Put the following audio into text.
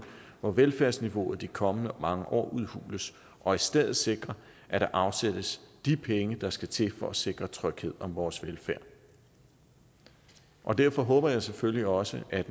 hvor velfærdsniveauet i de kommende mange år udhules og i stedet sikre at der afsættes de penge der skal til for at sikre tryghed om vores velfærd og derfor håber jeg selvfølgelig også at